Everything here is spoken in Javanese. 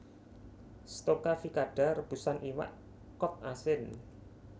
Stocaficada rebusan iwak kod asin